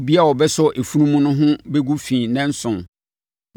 “Obiara a ɔbɛsɔ efunu mu no ho bɛgu fi nnanson.